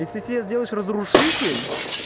если ты себе сделаешь разрушитель